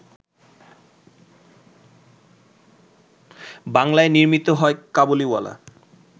বাংলায় নির্মিত হয় ‘কাবুলিওয়ালা’